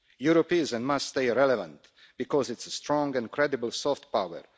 Europe is and must stay relevant because it is a strong and credible soft power.